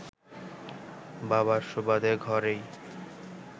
বাবার সুবাদে ঘরেই